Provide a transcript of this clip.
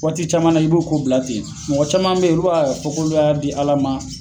Waati caman na i b'o k ko bila ten mɔgɔ caman beyen olu b'afɔ k'u y'a di ala ma